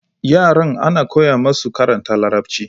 Yaran ana koya musu karanta larabci